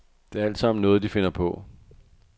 Det er altsammen noget, de finder på.